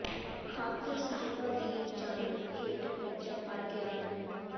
ਖ਼ਾਤਰ ਸਾਹਿਬਾਂ ਦੀ ਜੰਡ ਹੇਠ ਮਿਰਜ਼ਾ ਮਰ ਗਿਆ ਨੀ